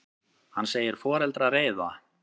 Hann segir foreldra reiða.